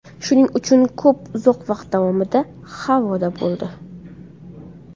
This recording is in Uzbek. Shuning uchun to‘p uzoq vaqt davomida havoda bo‘ldi.